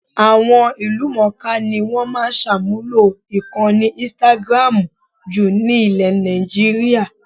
Àwọn ìlúmọ̀ńká ni wọ́n máa ń ṣàmúlò ìkànnì instagram jù nílẹ̀ Nàìjííríà